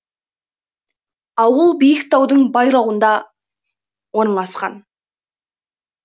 ауыл биік таудың байрауында орналасқан